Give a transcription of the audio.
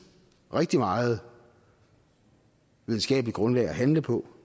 rigtig meget videnskabeligt grundlag at handle på